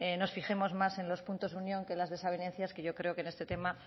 nos fijemos más en los puntos de unión que en las desavenencias que yo creo que en este tema